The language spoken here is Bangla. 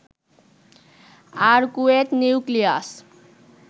arcuate nucleus